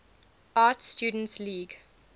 art students league